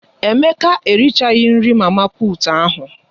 Emeka erichaghi nri mama puut ahụ.